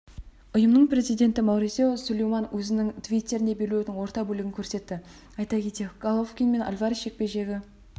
ұйымның президенті маурисио сулейман өзінің твиттерінде белбеудің орта бөлігін көрсетті айта кетейік головкин мен альварес жекпе-жегі